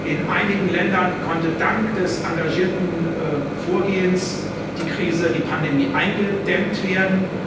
In einigen Ländern konnte dank des engagierten Vorgehens die Krise, die Pandemie, eingedämmt werden.